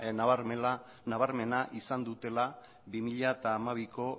nabarmena izan dutela bi mila hamabiko